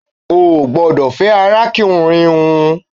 O gbọdọ̀ fẹ́ arákùnrin hun